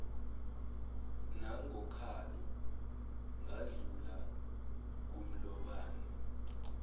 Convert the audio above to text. nangokhalo ngadlula kumlobane